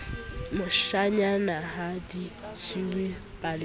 moshanyana ha di jewe paleng